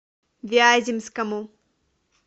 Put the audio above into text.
вяземскому